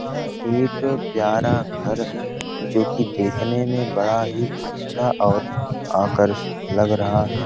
ह एक प्यरा घर है जो की देखने में बड़ा ही अच्छा और आकर्षित लग रहा है।